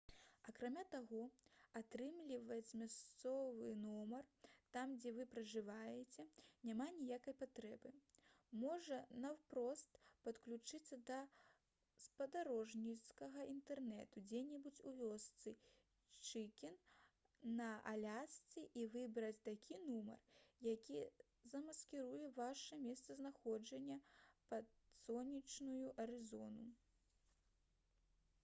акрамя таго атрымліваць мясцовы нумар там дзе вы пражываеце няма ніякай патрэбы можна наўпрост падключыцца да спадарожнікавага інтэрнэту дзе-небудзь у вёсцы чыкен на алясцы і выбраць такі нумар які замаскіруе ваша месцазнаходжанне пад сонечную арызону